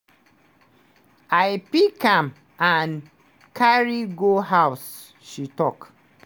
"i pick am and carry go house" she tok.